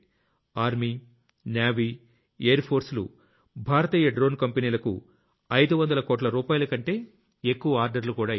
army NavyమరియుAir ఫోర్స్ లు భారతీయ Droneకంపెనీలకు 500 కోట్ల రూపాయలకంటే ఎక్కువ Orderలు కూడా ఇచ్చాయి